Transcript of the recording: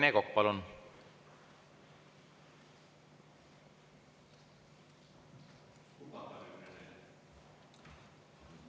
Rene Kokk, palun!